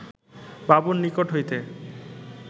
বাবুর নিকট হইতে